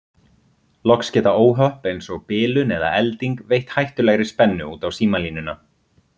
Loks geta óhöpp eins og bilun eða elding veitt hættulegri spennu út á símalínuna.